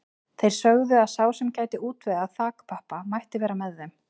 Þeir sögðu að sá sem gæti útvegað þakpappa mætti vera með þeim.